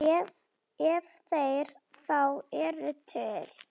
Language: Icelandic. Ef þeir þá eru til.